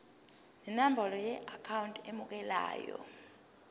nenombolo yeakhawunti emukelayo